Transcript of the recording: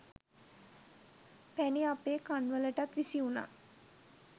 පැණි අපේ කන් වලටත් විසි වුණා